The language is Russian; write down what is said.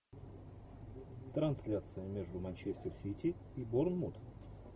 трансляция между манчестер сити и борнмут